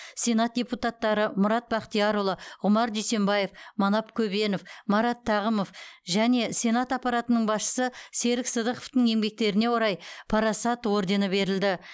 сенат депутаттары мұрат бақтиярұлы ғұмар дүйсембаев манап көбенов марат тағымов және сенат аппаратының басшысы серік сыдықовтың еңбектеріне орай парасат ордені берілді